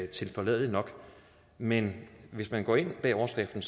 tilforladelig nok men hvis man går ind bag overskriften